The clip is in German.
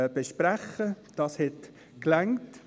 Dafür reichte die Zeit.